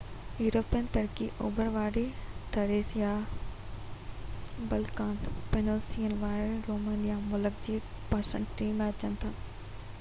European Turkey اوڀر واري Thrace يا بلقان پيننسيولا ۾ روميليا ملڪ جي 3% ۾ اچن ٿا